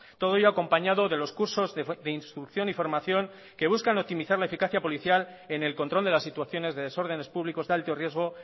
todo ello acompañado de los cursos de instrucción y formación que buscan optimizar la eficacia policial en el control de las situaciones de desordenes públicos de alto riesgo